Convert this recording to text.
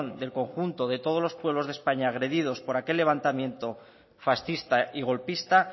del conjunto de todos los pueblos de españa agredidos por aquel levantamiento fascista y golpista